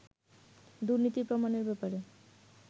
দুর্নীতির প্রমাণের ব্যাপারে